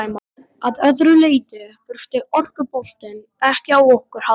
Að öðru leyti þurfti orkuboltinn ekki á okkur að halda.